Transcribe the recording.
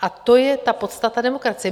A to je ta podstata demokracie.